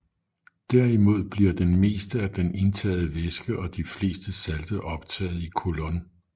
Derimod bliver det meste af den indtagede væske og de fleste salte optaget i colon